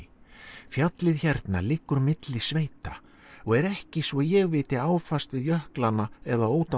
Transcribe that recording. fjallið hérna liggur milli sveita og er ekki svo ég viti áfast við jöklana eða Ódáðahraun